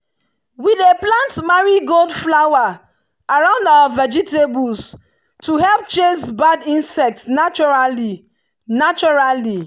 we dey plant marigold flower around our vegetables to help chase bad insects naturally. naturally.